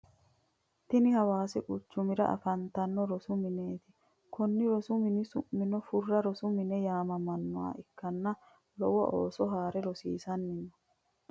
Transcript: Tini hawaasi quchumira afantanno rosu mineeti. Konni rosu mini su'mino furra rosu mine yaamamanno ikkanna lowo ooso haare rosiisanni no.